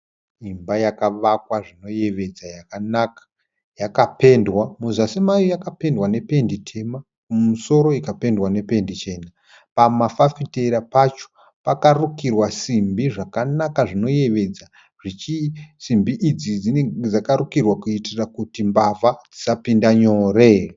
Imba yakavakwa zvinoyevedza yakanaka, yakapendwa. Muzasi mayo yakapendwa nependi tema mumusoro ikapendwa nependi chena. Pamafafitera pacho pakarukirwa simbi zvakanaka zvinoyevedza. Simbi idzi dzinenge dzakarukirwa kuitira kuti mbavha dzisapinda nyore.